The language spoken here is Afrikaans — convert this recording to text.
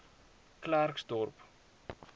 klersdorp